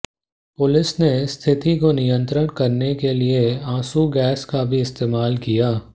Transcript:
police ने स्थिति को नियंत्रित करने के लिए आंसू गैस का भी इस्तेमाल किया